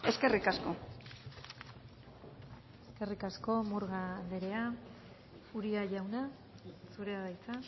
eskerrik asko eskerrik asko murga andrea uria jauna zurea da hitza